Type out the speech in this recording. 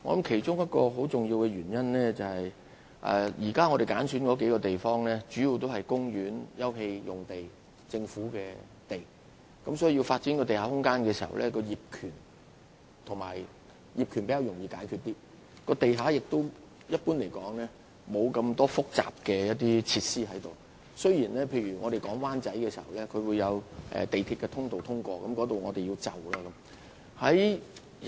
其中一個很重要的原因是現時所揀選的數個地區，主要是涉及公園/休憩用地及政府用地，如要發展地下空間，業權問題會較容易解決，而且一般而言，地下亦沒有太多複雜設施，儘管在討論灣仔的相關發展時發現涉及港鐵的通道，需要作出遷就。